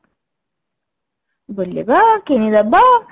ବୁଲିବା କିଣିଦବା